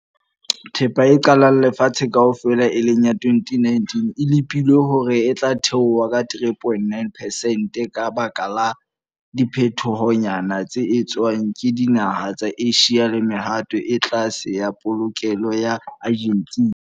Thepa e qetellang lefatsheng kaofela, e leng ya 2019 e lepilwe hore e tla theoha ka 3,9 percent ka baka la diphetohonyana tse etswang ke dinaha tsa Asia le mehato e tlase ya polokelo ya Argentina.